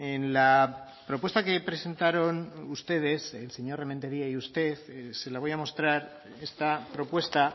en la propuesta que presentaron ustedes el señor rementeria y usted se la voy a mostrar esta propuesta